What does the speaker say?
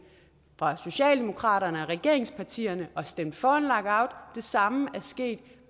fra socialdemokratiet og regeringspartierne og stemt for en lockout det samme er sket